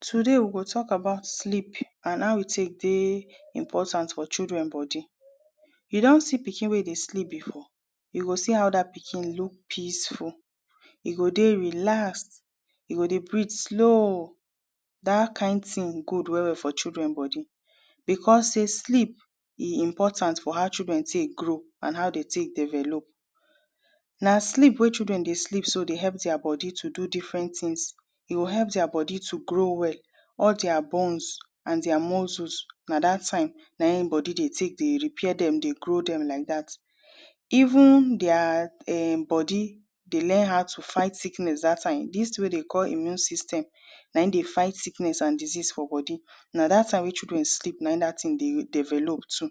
Today we go tok about sleep and how e take dey important for children bodi You don see pikin wey dey sleep before? You go see how dat pikin look peaceful e go dey relaxed, e go dey breathe slow Dat kind tin good well well for children bodi becos sey sleep e important for how children take grow and how de take develop Na sleep wey children dey sleep so dey help their bodi dey do different tins E will help their bodi to grow well, all their bones and their muscles na dat time na im bodi de take de repair dem, de grow dem like dat Even their um bodi dey learn how to fight sickness dat time, dis wey de call immune system na im dey fight sickness and disease for bodi na dat time which pikin sleep na im dat tin dey develop too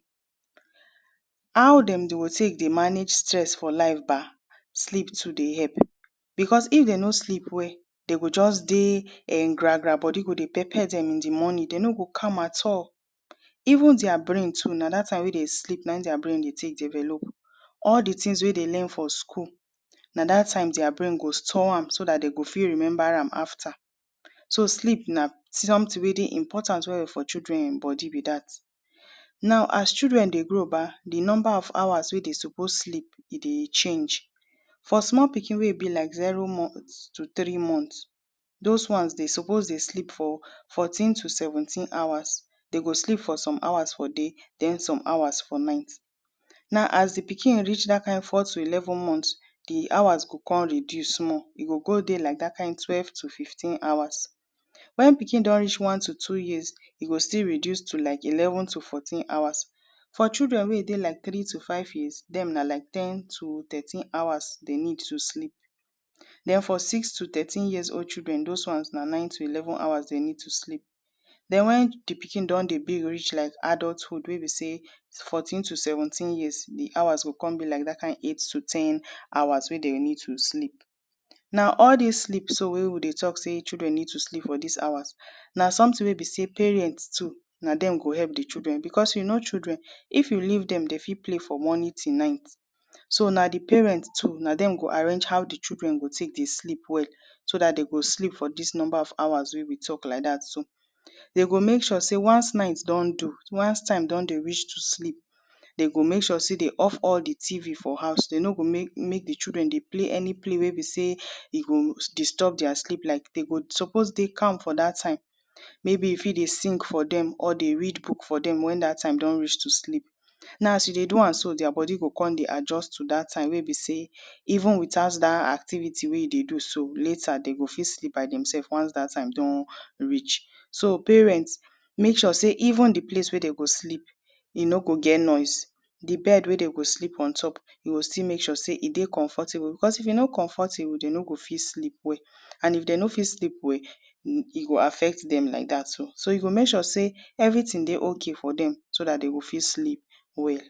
How dem go dey take de manage stress for life ba? Sleep too dey help becos if dem no sleep well, dem go just de um gra gra. Bodi go dey pepper dem in di morning, dem no go calm at all Even their brain too, na dat time wey dem sleep, na im their brain dey take develop All di tins wey de learn from school na dat time their brain go store am so dat de go fit remember am after So sleep na something wey dey important well well for children bodi be dat Now as children dey grow ba, di nomba of hours wey de suppose sleep e dey change For small pikin wey e be like zero month to three month, those ones de suppose dey sleep for fourteen to seventeen hours e go sleep for some hours for day, then some hours for night Now as di pikin reach dat kind four to eleven months di hours go come reduce small. E go go de like dat kind twelve to fifteen hours when pikin don reach one to two years, e go still reduce to like eleven to fourteen hours For children wey dey like three to five years, dem na like ten to thirteen hours dem need to sleep Then for six to thirteen years old children, those ones na nine to eleven hours dem need to sleep Then when di pikin don de big reach like adulthood wey be sey fourteen to seventeen years, di hours go come be like dat kind eight to ten hours wey dem need to sleep Now all dis sleep wey we de tok sey children need to sleep for dis hours na something wey be sey parents too, na dem go help di children becos you know children if you leave dem, dey fit play from morning till night so na di parent too, na dem go arrange how di children go take dey sleep well so dat dey go sleep for dis nomba of hours wey we tok like dat so De go make sure sey once night don do, once time don de reach to sleep de go make sure sey de off all di TV for house, dem no go make di children dey play any play wey be sey e go disturb their sleep like de go suppose dey calm for dat time maybe you fit dey sing for dem or dey read book for dem when dat time don reach to sleep Now as you dey do am so, their bodi go come de adjust to dat time wey be sey even without dat activity wey you dey do so later dem go fit sleep by demsef once dat time don reach. So parents, make sure sae even di place wey dem go sleep no go get noise. Di bed wey dem go sleep on top, you go still make sure sey e de comfortable becos if e no comfortable, dem no fit sleep well and if dem no fit sleep well, e go affect dem like dat so. So you go make sure sey everything dey okay for dem so dat dem go fit sleep well